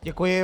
Děkuji.